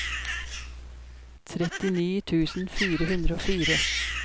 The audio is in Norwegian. trettini tusen fire hundre og fire